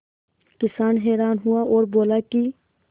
किसान हैरान हुआ और बोला कि